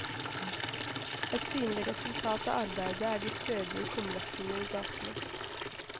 Ett synlig resultat av arbeidet er de stødige kumlokkene i gatene.